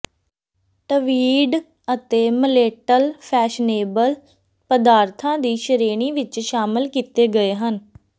tweed ਅਤੇ ਮਲੇਟਲ fashionable ਪਦਾਰਥਾਂ ਦੀ ਸ਼੍ਰੇਣੀ ਵਿੱਚ ਸ਼ਾਮਲ ਕੀਤੇ ਗਏ ਹਨ